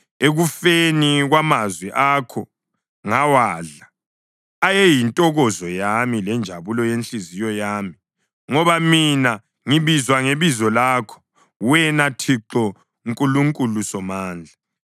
Ekufikeni kwamazwi akho, ngawadla; ayeyintokozo yami lenjabulo yenhliziyo yami, ngoba mina ngibizwa ngebizo lakho, wena Thixo Nkulunkulu Somandla.